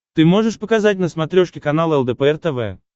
ты можешь показать на смотрешке канал лдпр тв